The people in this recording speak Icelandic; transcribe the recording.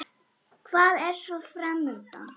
Hvað er svo fram undan?